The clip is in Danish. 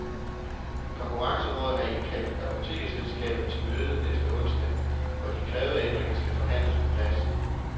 Konkurrencerådet har indkaldt apotekerselskabet til møde næste onsdag, hvor de krævede ændringer skal forhandles på plads.